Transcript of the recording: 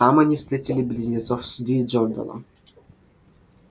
там они встретили близнецов с ли джорданом